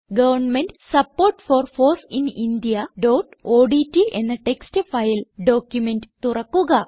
government support for foss in indiaഓഡ്റ്റ് എന്ന text file document തുറക്കുക